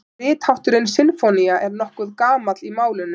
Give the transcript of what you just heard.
Rithátturinn sinfónía er nokkuð gamall í málinu.